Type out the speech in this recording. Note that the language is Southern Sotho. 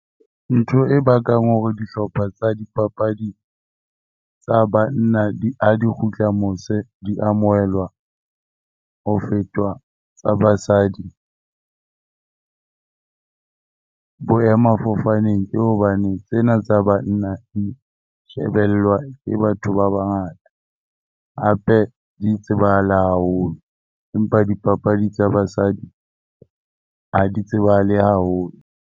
Ntho e bakang hore dihlopha tsa dipapadi tsa banna ha di kgutla mose, di amohelwa ho fetwa tsa basadi boemafofaneng ke hobane tsena tsa banna di shebellwa ke batho ba bangata. Hape di tsebahala haholo, empa dipapadi tsa basadi ha di tsebahale haholo.